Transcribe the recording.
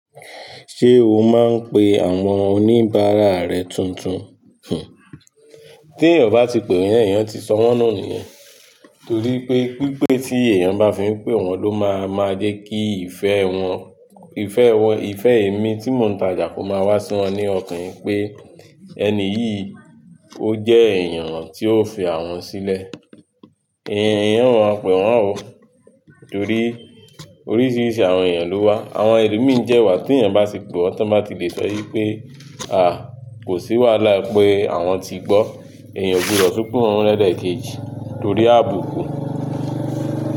Ṣé o máa ń pe àwọn oníbàárà rẹ tuntun? Tí èèyàn obá ti pè èèyàn, èèyàn ti sọ wọ́n nù nìyẹn. Torí pé pípé tí èèyàn bá fi ń pè wọn ló máa máa jẹ́ kí ìfẹ́ wọn, ìfẹ́ wọn, ìfẹ́ èmi tí mò ń tajà kó máa wá sí wọn ní ọkàn ipé ẹni yìí ó jẹ́ èèyàn tí ó fi àwọn sílẹ̀. Ìyẹn, èèyàn máa pè wọ́n oo, torí oríṣiríṣi àwọn èèyàn ló wà. Àwọn ẹlòmíì jẹ́ wà, tí èèyàn bá ti pè wọ́n, tán bá ti lè sọ ípé a, kò sí wàhálà pé àwọn ti gbọ́. Èèyàn ogbudọ tu pe wọn mọ lẹlẹ keji m torí àbùkùn.